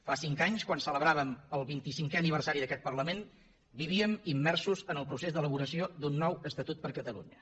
fa cinc anys quan celebràvem el vint i cinquè aniversari d’aquest parlament vivíem immersos en el procés d’elaboració d’un nou estatut per a catalunya